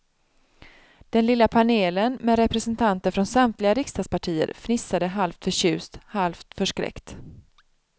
Den lilla panelen, med representanter från samtliga riksdagspartier, fnissade halvt förtjust, halvt förskräckt.